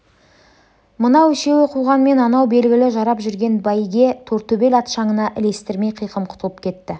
мынау үшеуі қуғанмен анау белгілі жарап жүрген бәйге тортөбел ат шаңына ілестірмей қиқым құтылып кетті